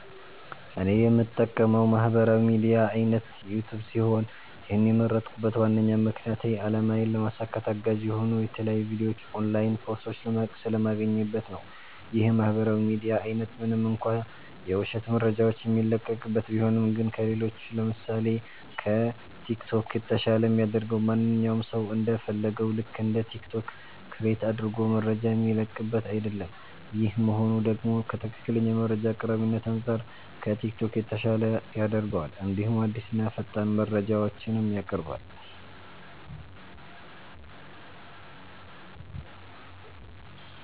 እኔ የምጠቀመዉ የማህበራዊ ሚድያ አይነት ዩቲዩብ ሲሆን ይህን የመረጥኩበት ዋነኛ ምክንያቴ አላማዬን ለማሳካት አጋዥ የሆኑ የተለያዩ ቪዲዮዎች ኦንላይን ኮርሶች ስለማገኝበት ነዉ። ይህ የማህበራዊ ሚዲያ አይነት ምንም እንኳ የዉሸት መረጃዎች የሚለቀቅበት ቢሆንም ግን ከሌሎች ለምሳሴ፦ ከቲክቶክ የተሻለ የሚያደርገዉ ማንኛዉም ሰዉ እንደ ፈለገዉ ልክ እንደ ቲክቶክ ክሬት አድርጎ መረጃ የሚለቅበት አይደለም ይሄ መሆኑ ደግሞ ከትክክለኛ መረጃ አቅራቢነት አንፃር ከቲክቶክ የተሻለ ያደርገዋል እንዲሁም አዲስና ፈጣን መረጃዎችንም ያቀርባል።